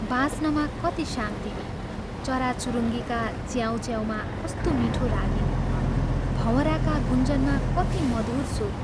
बाँच्नमा कति शान्ति चराचुरुङ्गीका च्याउँ च्याउँमा कस्तो मीठो रागिनी, भँवराका गुञ्जनमा कति मधुर सुर